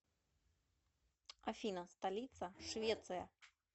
афина столица швеция